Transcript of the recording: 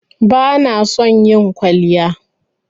Bana son yin kwalliya.